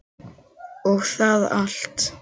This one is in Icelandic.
og það allt.